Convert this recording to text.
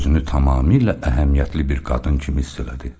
Özünü tamamilə əhəmiyyətli bir qadın kimi hiss elədi.